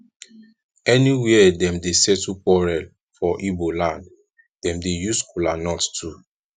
anywia wey dem dey settle quarel for igboland dem dey use kolanut too